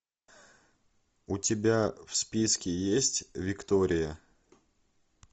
у тебя в списке есть виктория